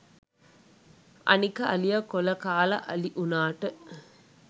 අනික අලිය කොල කාල අලි උනාට